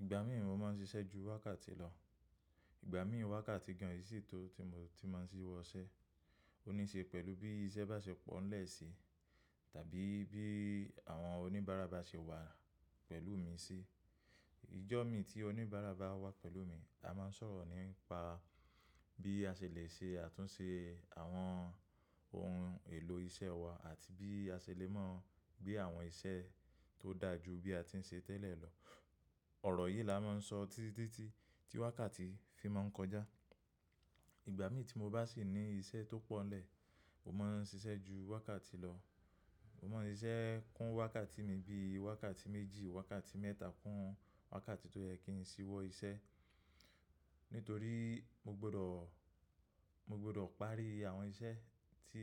Ìgbà mí mo ma ń ṣiṣẹ́ ju wákàtí lọ. Ìgbà mí wákàtí gan ìṣí tó tí mo ti ma ń ṣí wọṣẹ́. Ó níṣe pẹ̀lú bí iṣẹ́ bá ṣe pọ̀ ńlẹ̀ si tàbí bí àwọn oníbàárà bá ṣe wà pẹ̀lú mi sí. Ìjọ́ mí tí oníbàárà bá wà pẹ̀lú mi, a máa ń sọ̀rọ̀ nípa bí a ṣèlè ṣe àtúnṣe àwọn ohun èlò iṣẹ́ wa àti bí a ṣèlè máa gbé àwọn iṣẹ́ tó dà ju bí a ti ń ṣe tẹ́lẹ̀ lọ. Ọ̀rọ̀ yìí la máa ń sọ títí tí wákàtí fi máa ń kọjá. Ìgbà mí tí mo bá sì ní iṣẹ́ tó pọ̀nlẹ̀, mo máa ń ṣiṣẹ́ ju wákàtí lọ. Mo máa ń ṣiṣẹ́ kún wákàtí mi bí wákàtí méjì, wákàtí mẹ́ta kún wákàtí tó yẹ kí n ṣíwọ iṣẹ́. Nítorí mo gbọ́dọ̀, mo gbọ́dọ̀ parí àwọn iṣẹ́ tí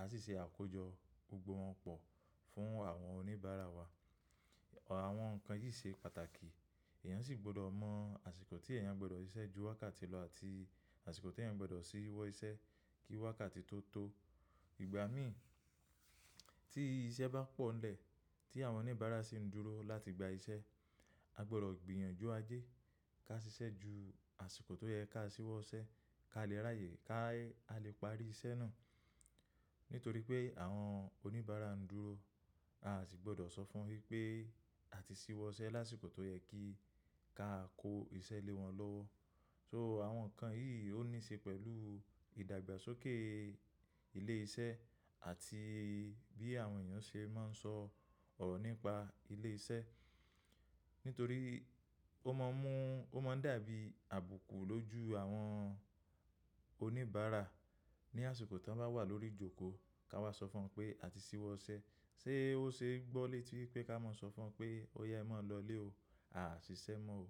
a sì ṣe àkójọ gbogbo wọn pọ̀ fún àwọn oníbàárà wa. Àwọn nǹkan yìí ṣe pàtàkì. Ẹ̀yàn sì gbọ́dọ̀ mọ àsìkò tí ẹ̀yàn gbọ́dọ̀ ṣiṣẹ́ ju wákàtí lọ àti àsìkò tí ẹ̀yàn gbọ́dọ̀ ṣíwọ iṣẹ́ kí wákàtí tó tó. Ìgbà mí tí iṣẹ́ bá pọ̀nlẹ̀, tí àwọn oníbàárà sì ń dúró láti gba iṣẹ́, a gbọ́dọ̀ gbìyànjú ajé ká ṣiṣẹ́ ju àsìkò tó yẹ ká ṣíwo iṣẹ́ ká lè ráyè ká lè parí iṣẹ́ náà. Nítorí pé àwọn oníbàárà ń dúró, a sì gbọ́dọ̀ sọ fún wípé a ti ṣí wọṣẹ́ lásìkò tó yẹ kí ká kó iṣẹ́ lé wọn lọ́wọ́. So àwọn nǹkan yìí ó níṣe pẹ̀lú ìdàgbàsókè ilé iṣẹ́ àti bí àwọn èèyàn ṣe máa ń sọ ọ̀rọ̀ nípa ilé iṣẹ́. Nítorí ó máa ń mú, ó máa ń dàbí àbùkù lójú àwọn oníbàárà ní àsìkò tí wọ́n bá wà lórí ìjókòó kí a wá sọ fún wọn pé a ti ṣíwọ ṣẹ́. Sé ó ṣe gbọ́ lé tí pé ká máa sọ fún wọn pé ó ya e máa lọlé o, a sise mọ́ o.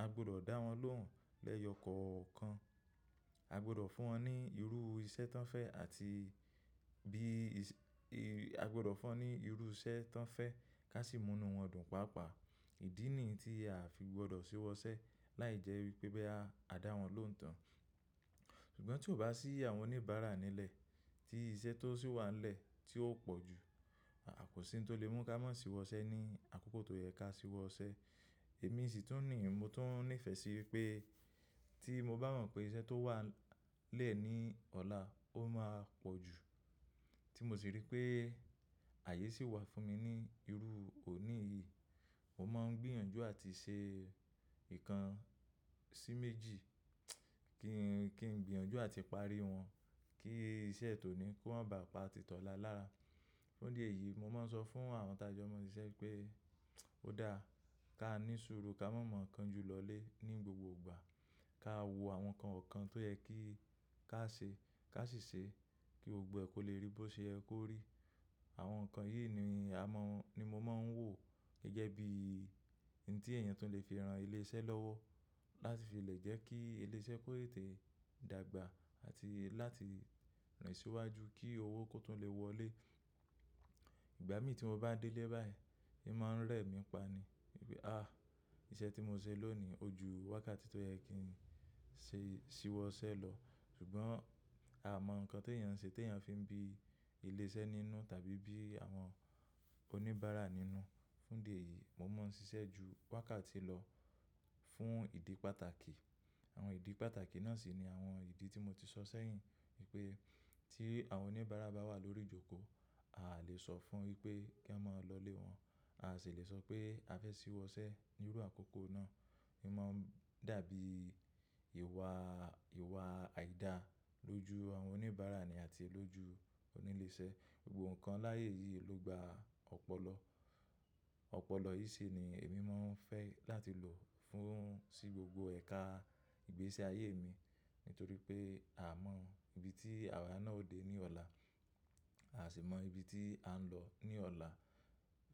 A gbọ́dọ̀ dá wọn lóhùn lẹ́yọkọ̀ọ̀kan. A gbọ́dọ̀ fún wọn ní irú iṣẹ́ tí wọ́n fẹ́ àti bí iṣẹ́, a gbọ́dọ̀ fún wọn ní irú iṣẹ́ tí wọ́n fẹ́ ká sì múnú wọn dùn pàápàá. Ìdí nìyi ti a fi gbọ́dọ̀ ṣíwọ iṣẹ́ láìjẹ́ wípé boya a dà wọ́n lóhùn tán. Ṣùgbọ́n tí ò bá sí àwọn oníbàárà nílẹ̀ tí iṣẹ́ tó sì wà nílẹ̀ tí ó pọ̀ jú, a ah, kọ́sí tó lè mú ká máa ṣíwọ iṣẹ́ ní àkókò tó yẹ ká ṣíwo iṣẹ́. Èmi sì tún ní, mo tún nífẹ̀ẹ́ sí wipé tí mo bá mọ̀ pé iṣẹ́ tó wà nle ní ọlá ó máa pọ̀ jú tí mo sì rí pé ààyè sì wà fún mi ní irú òní yìí, mo máa ń gbìyànjú àti ṣe ìkan sí méjì kí n, kí n gbìyànjú àti parí wọn kí iṣẹ́ tó ní kó má bà pa títọ̀lá lára. Fún idi eyìí, mo máa ń sọ fún àwọn tá jo maa n siṣẹ́ pé ó dáa ká ní suru ká maa ma kan ju lọlé ní gbogbo ìgbà. Ká wo àwọn nǹkan wọ̀kan tó yẹ kí ká ṣe ká sì ṣe kí gbogbo kọ́ lè rí bó ṣe yẹ kó rí. Àwọn nǹkan yìí ni a maa, ni mo máa ń wò gẹ́gẹ́ bi ohun tí èèyàn tó lè fi ran ilé iṣẹ́ lọ́wọ́ láti fi lè jẹ́ kí ilé iṣẹ́ kó lè tẹ̀ dàgbà àti láti rin síwájú kí owó kó tún lè wọlé. Ìgbà mí tí mo bá délé báyìí, è máa ń rẹ̀ mí pa ni wípé àá iṣẹ́ tí mo ṣe lónìí o ju wákàtí tó yẹ kí n ṣe, ṣíwọ ṣẹ́ lọ. Ṣùgbọ́n a mọ̀ nǹkan ti èèyàn ń ṣe ti èèyàn fi ń bí ilé iṣẹ́ nínú tàbí bí àwọn oníbàárà nínú. Fún idi eyìí mo máa ń ṣiṣẹ́ ju wákàtí lọ fún ìdí pàtàkì. Àwọn ìdí pàtàkì náà sì ni àwọn ìdí tí mo ti sọ sẹ́yìn wípé tí àwọn oníbàárà bá wà lórí ìjókòó, a lè sọ fún wípé kí wọn má lọlé wọn. A sì lè sọ pé a fẹ́ ṣíwọ iṣẹ́ ní irú àkókò náà. È máa ń dàbí ìwà, ìwà àìda lójú àwọn oníbàárà ni àti lójú onílé iṣẹ́. Gbogbo nǹkan láàyè yìí ló gba ọpọlọ. Ọpọlọ yìí sì ni èmi máa ń fẹ́ láti lò fún sí gbogbo ẹ̀ka ìgbésí ayé mi nítorí pé a mọ ibi tí àwọn náà ó dé ní ọ̀la. A sì mọ ibi tí à ń lọ ní ọ̀la.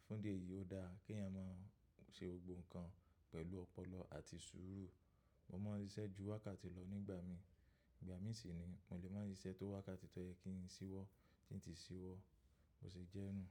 Fún idi eyìí ó dáa kí èèyàn máa ṣe gbogbo nǹkan pẹ̀lú ọpọlọ àti sùúrù. Mo máa ń ṣiṣẹ́ ju wákàtí lọ nígbà mí. Ìgbà mí sì ni mò lè máa ṣiṣẹ́ tó wákàtí tó yẹ kí n ṣí wọ tí ń ti ṣí wọ bò se jẹ́ nù.